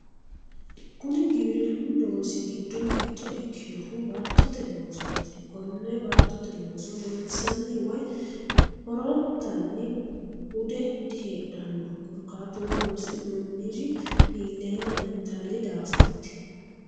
Kuni giwirinnu loosi giddo mitto ikkinohu baattote loosooti kone baattote looso lonsanni woy horonttanni hude diheedhanno korkaatuno loosi'noonniri illeenna intanni daafoati.